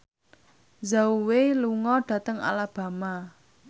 Zhao Wei lunga dhateng Alabama